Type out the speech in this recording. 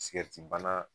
Sigɛritibana